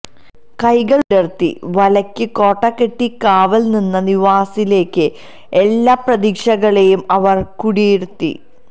കൈകള് വിടര്ത്തി വലയ്ക്ക് കോട്ട കെട്ടി കാവല് നിന്ന നവാസിലേക്ക് എല്ലാ പ്രതീക്ഷകളെയും അവര് കുടിയിരുത്തി